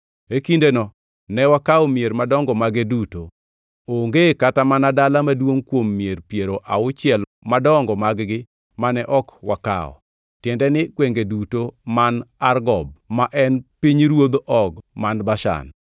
E kindeno ne wakawo mier madongo mage duto. Onge kata mana dala maduongʼ kuom mier piero auchiel madongo mag-gi mane ok wakawo, tiende ni gwenge duto man Argob, ma en pinyruodh Og man Bashan.